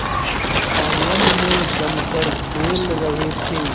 आंगन में जमकर खेल रहे थे